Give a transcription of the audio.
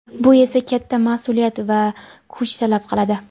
Bu esa katta mas’uliyat va kuch talab qiladi.